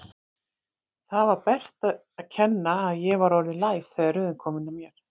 Það var Berta að kenna að ég var orðinn læs þegar röðin kom að mér.